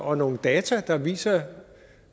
og nogle data der viser